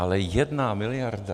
Ale jedna miliarda?